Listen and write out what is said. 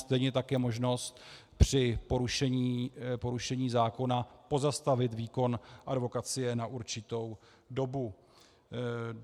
Stejně tak je možnost při porušení zákona pozastavit výkon advokacie na určitou dobu.